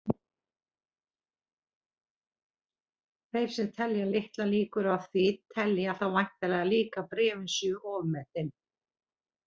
Þeir sem telja litlar líkur á því telja þá væntanlega líka að bréfin séu ofmetin.